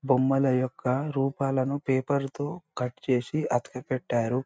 బొమ్మల యొక్క రూపాలను పేపర్ తో కట్ చేసి అతక కట్టారు.